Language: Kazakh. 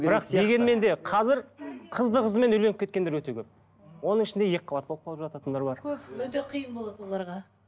бірақ дегенмен де қазір қызды қызымен үйленіп кеткендер өте көп оның ішінде екі қабат болып қалып жататындар бар өте қиын болады оларға